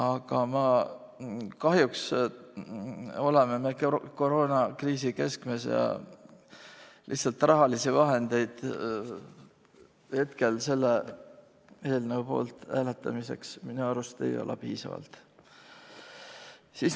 Aga kahjuks oleme koroonakriisi keskmes ja rahalisi vahendeid hetkel selle eelnõu poolt hääletamiseks minu arvates lihtsalt ei ole piisavalt.